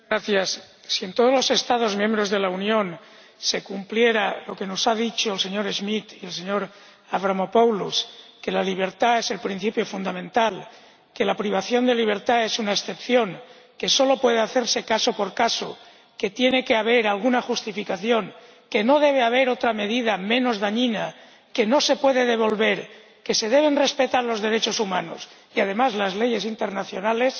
Señor Presidente, si en todos los Estados miembros de la Unión se cumpliera lo que nos han dicho el señor Schmit y el señor Avramopoulos —que la libertad es el principio fundamental, que la privación de libertad es una excepción, que solo puede hacerse caso por caso, que tiene que haber alguna justificación y no existir otra medida menos dañina, que no se puede devolver, que se deben respetar los derechos humanos y, además, las leyes internacionales—,